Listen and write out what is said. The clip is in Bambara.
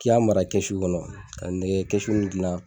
K'i ka mara kɛsu kɔnɔ, ka nɛgɛ kɛsu gilan